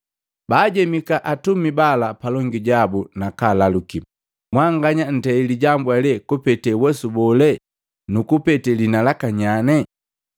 Baajemiki atumi bala palongi jabu, nakaalaluki, “Mwanganya ntei lijambu eli kupete uwesu bole nukupete liina laka nyaane?”